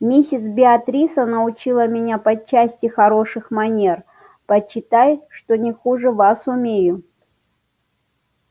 миссис беатриса научила меня по части хороших манер почитай что не хуже вас умею